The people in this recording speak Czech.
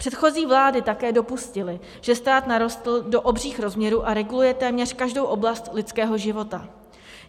Předchozí vlády také dopustily, že stát narostl do obřích rozměrů a reguluje téměř každou oblast lidského života.